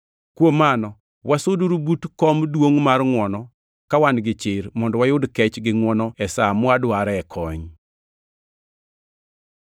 Kuom mano, wasuduru but kom duongʼ mar ngʼwono ka wan gi chir, mondo wayud kech gi ngʼwono e sa mwadware kony.